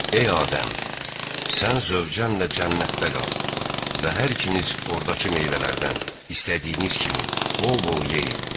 Ey Adəm, sən zövcənlə cənnətdə qal və hər ikiniz ordakı meyvələrdən istədiyiniz kimi bol-bol yeyin.